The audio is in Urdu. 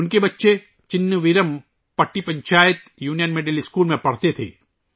ان کے بچے Chinna Veeram Patti panchayat union middle school میں پڑھتے تھے